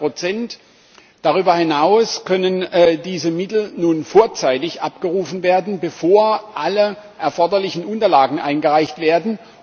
100 Darüber hinaus können diese Mittel nun vorzeitig abgerufen werden, bevor alle erforderlichen Unterlagen eingereicht werden.